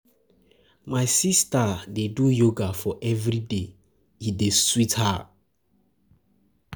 My sista dey do yoga for everyday, e dey sweet her.